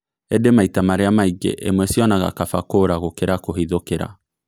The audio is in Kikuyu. ĩndĩ maita marĩa maingĩ ĩmwe cionaga kaba kũũra gũkĩra kũhithũkĩra.